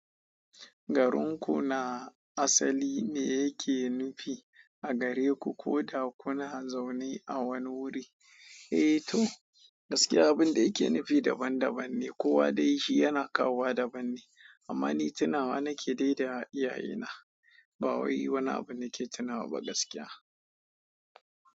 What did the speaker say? Garin ku na asali ne yake nufi a gare ku ko da kuna zaune a wani wuri? Eh to, gaskiya abin da yake nufi daban daban ne, kowa dai shi yana kawowa daban ne. Amma ni tunawa na ke daida a iyaye na, ba wai wani abu na ke tunawa ba gaskiya.